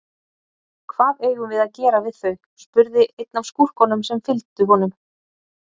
Hvað eigum við að gera við þau, spurði einn af skúrkunum sem fylgdu honum.